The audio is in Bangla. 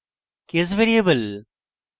case variable